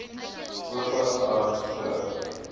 ope arms terug